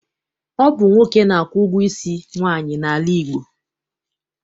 Ọ bụ nwoke na-akwụ ụgwọ isi nwaanyị n'ala Igbo.